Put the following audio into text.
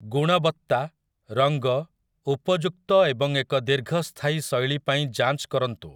ଗୁଣବତ୍ତା, ରଙ୍ଗ, ଉପଯୁକ୍ତ ଏବଂ ଏକ ଦୀର୍ଘସ୍ଥାୟୀ ଶୈଳୀ ପାଇଁ ଯାଞ୍ଚ କରନ୍ତୁ ।